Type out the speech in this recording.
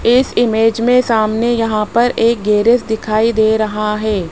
इस इमेज में सामने यहां पर एक गैरेज दिखाई दे रहा है।